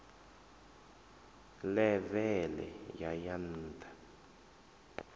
ḽeve ḽe ya ya nṱha